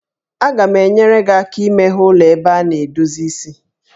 Aga m enyere gị aka imeghe ụlọ ebe a na-edozi isi